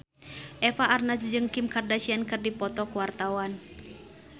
Eva Arnaz jeung Kim Kardashian keur dipoto ku wartawan